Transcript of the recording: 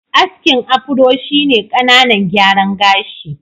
Askin Afro shi ne ƙananan gyaran gashi.